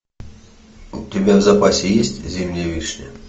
у тебя в запасе есть зимняя вишня